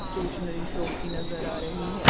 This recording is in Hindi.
स्टेशनरी शॉप की नजर आ रही है।